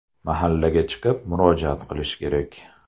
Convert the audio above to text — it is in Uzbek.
Mahallaga chiqib murojaat qilishi kerak.